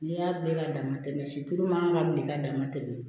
N'i y'a bila ka dama tɛmɛ silo man bilen k'a dama tɛmɛ